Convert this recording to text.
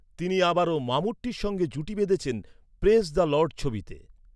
তিনি আবারও মামুট্টির সঙ্গে জুটি বেঁধেছেন প্রেজ দ্যা লর্ড ছবিতে।